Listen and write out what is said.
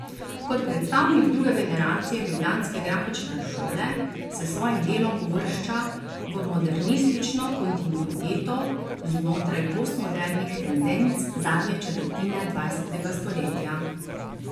Kot predstavnik druge generacije ljubljanske grafične šole se s svojim delom uvršča v modernistično kontinuiteto znotraj postmodernih tendenc zadnje četrtine dvajsetega stoletja.